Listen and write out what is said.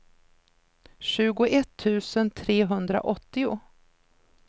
tjugoett tusen trehundraåttio